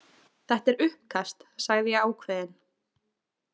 Þetta er uppkast, sagði ég ákveðin.